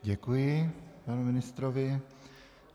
Děkuji panu ministrovi.